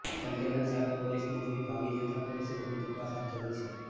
કન્ટેનરનો ચાલક પોલીસને જોઈ ભાગી જતાં પોલીસે વધુ તપાસ હાથ ધરી છે